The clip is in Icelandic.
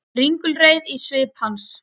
Ringulreið í svip hans.